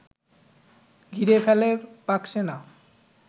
ঘিরে ফেলে পাকসেনা